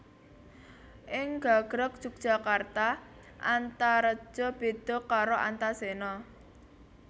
Ing gagrag Jogjakarta Antareja béda karo Antasena